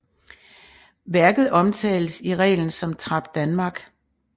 Værket omtales i reglen som Trap Danmark